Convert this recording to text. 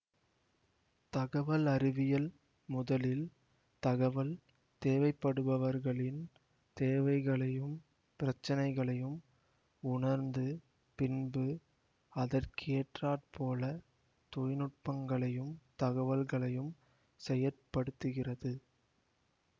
தகவல் அறிவியல் முதலில் தகவல் தேவைப்படுபவர்களின் தேவைகளையும் பிரச்சனைகளையும் உணர்ந்து பின்பு அதற்கேற்றாற் போல தொழில்நுட்பங்களையும் தகவல்களையும் செயற்படுத்துகிறது